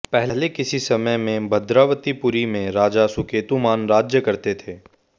पहले किसी समय में भद्रावतीपुरी में राजा सुकेतुमान राज्य करते थे